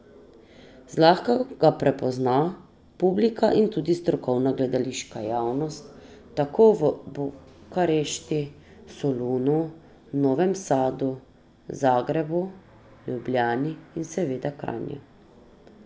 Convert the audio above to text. Zlahka ga prepozna publika in tudi strokovna gledališka javnost tako v Bukarešti, Solunu, Novem Sadu, Zagrebu, Ljubljani in seveda Kranju.